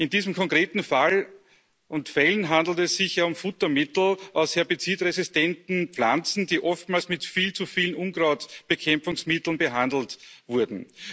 In diesen konkreten Fällen handelt es sich ja um Futtermittel aus herbizidresistenten Pflanzen, die oftmals mit viel zu viel Unkrautbekämpfungsmittel behandelt wurden.